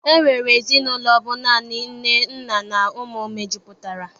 E nwere ezinaụlọ bụ naanị nne, nna na ụmụ mejupụtara.